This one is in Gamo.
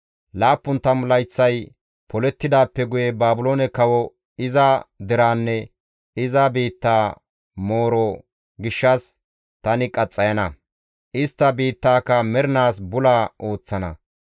«Laappun tammu layththay polettidaappe guye Baabiloone kawo, iza deraanne iza biittaa mooro gishshas tani qaxxayana; istta biittaaka mernaas bula ooththana.